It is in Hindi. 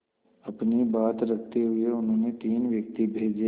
अपनी बात रखते हुए उन्होंने तीन व्यक्ति भेजे